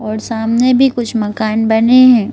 और सामने भी कुछ मकान बने हैं।